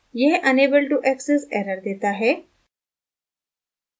यह unable to access error देता है